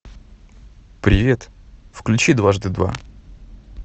привет включи дважды два